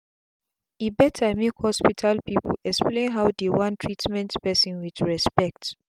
e better make hospital people explain how dey wan treatment person with respect.